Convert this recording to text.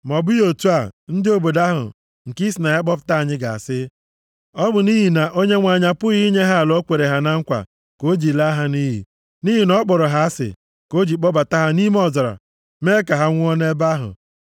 Ma ọ bụghị otu a, ndị obodo ahụ nke i si na ya kpọpụta anyị ga-asị, ‘Ọ bụ nʼihi na Onyenwe anyị apụghị inye ha ala o kwere ha na nkwa ka o ji laa ha nʼiyi. Nʼihi na ọ kpọrọ ha asị, ka o ji kpọbata ha nʼime ọzara mee ka ha nwụọ nʼebe ahụ.’